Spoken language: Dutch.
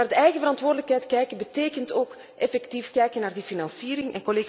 Maar naar de eigen verantwoordelijkheid kijken betekent ook kijken naar de financiering.